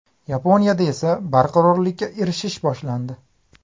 Yaponiyada esa barqarorlikka erishish boshlandi.